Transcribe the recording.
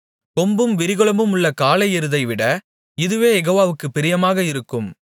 கொம்பும் விரிகுளம்புமுள்ள காளை எருதைவிட இதுவே யெகோவாவுக்குப் பிரியமாக இருக்கும்